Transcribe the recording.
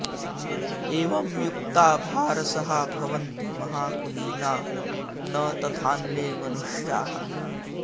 एवं युक्ता भारसहा भवन्ति महाकुलीना न तथान्ये मनुष्याः